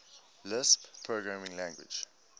lisp programming language